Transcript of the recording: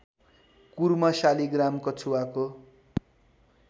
Kurma Shaligram कछुवाको